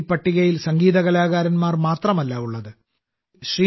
ഈ പട്ടികയിൽ സംഗീത കലാകാരന്മാർ മാത്രമല്ല ഉള്ളത് ശ്രീമതി